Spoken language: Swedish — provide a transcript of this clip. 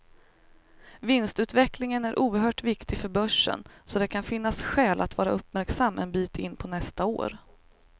Vinstutvecklingen är oerhört viktig för börsen, så det kan finnas skäl att vara uppmärksam en bit in på nästa år.